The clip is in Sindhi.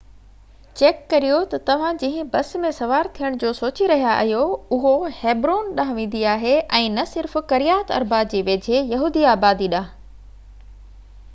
چيڪ ڪريو ته توهان جنهن بس ۾ سوار ٿيڻ جو سوچي رهيا آهيو اهو هيبرون ڏانهن ويندي آهي ۽ نه صرف ڪريات اربه جي ويجهي يهودي آبادي ڏانهن